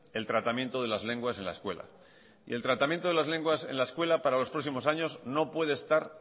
el tratamiento de las lenguas en la escuela y el tratamiento de las lenguas en la escuela para los próximos años no puede estar